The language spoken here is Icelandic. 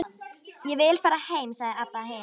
Ég vil fara heim, sagði Abba hin.